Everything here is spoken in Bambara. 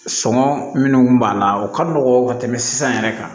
Sɔngɔ minnu kun b'a la o ka nɔgɔn ka tɛmɛ sisan yɛrɛ kan